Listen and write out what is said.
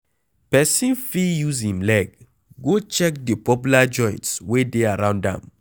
Person fit use im leg go check di popular joints wey dey around am